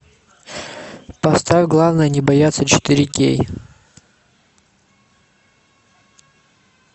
поставь главное не бояться четыре кей